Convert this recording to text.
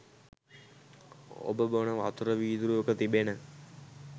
ඔබ බොන වතුර වීදුරුවක තිබෙන